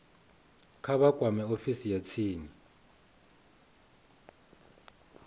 vha kwame ofisi ya tsini